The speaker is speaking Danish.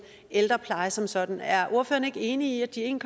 ældrepleje som sådan er ordføreren ikke enig i at de en